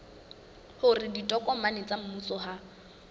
hore ditokomane tsa mmuso ha